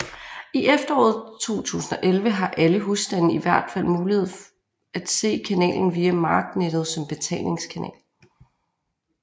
I efteråret 2011 har alle husstande i hvert fald mulighed at se kanalen via marknettet som betalingskanal